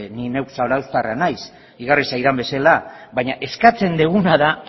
ni neu zarauztarra naiz igarri zaidan bezala baina eskatzen deguna da